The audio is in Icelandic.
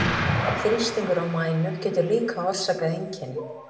Þrýstingur á mænu getur líka orsakað einkenni.